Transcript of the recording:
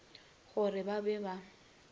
go re ba be ba